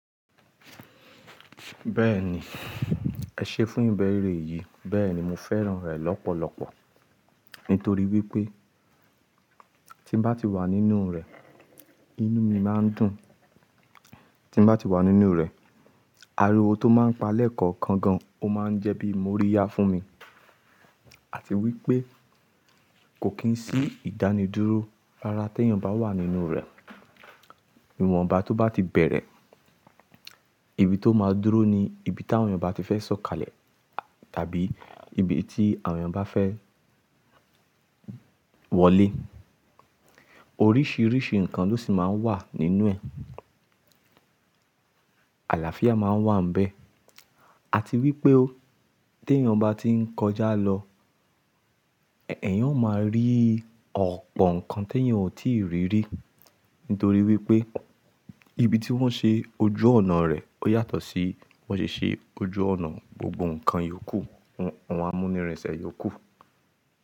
Bẹ́ẹ̀ni, ẹ ṣe fún ìbẹ́ ère yìí. Bẹ́ẹ̀ni, mo fẹ́ràn rẹ̀ lọ́pọ̀lọpọ̀. Nítorí wípé tí ń bá ti wà nínú rè, inú mi máa ń dùn. Tí ń bá ti wà nínú rè, ariwo tó máa ń pa lẹ́ẹ̀kọ̀ọ̀kan gan, ó máa ń jẹ́ bí mo rí yá fún mi. Àti wípé kò kì í sí ìdánidúró rárá tí èèyàn bá wà nínú rè. Ìwọ̀nba tó bá ti bẹ̀rẹ̀, ibi tó máa dúró ni ibi tí àwọn èèyàn bá ti fẹ́ sọ̀kalẹ̀ tàbí ibi tí àwọn èèyàn bá fẹ́ wọlé. Oríṣiríṣi nǹkan ló sì máa ń wà nínú ẹ̀. Àlàáfíà máa ń wà níbẹ̀. Àti wípé ó, tí èèyàn bá ti ń kọjá lọ, èèyàn ó máa rí ọ̀pọ̀ nǹkan tí èèyàn ò tíì rí rí. Nítorí wípé ibi tí wọ́n ṣe ojú ọ̀nà rẹ̀ ó yàtọ̀ sí bí wón ṣe ṣe ojú ọ̀nà. Gbogbo nǹkan yó kù, àwọn amúnirinsẹ̀ yó kù.